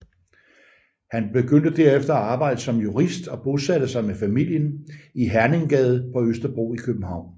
Han begyndte derefter at arbejde som jurist og bosatte sig med familien i Herninggade på Østerbro i København